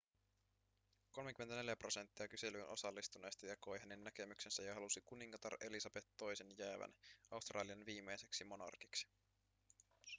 34 prosenttia kyselyyn osallistuneista jakoi hänen näkemyksensä ja halusi kuningatar elisabeth ii:n jäävän australian viimeiseksi monarkiksi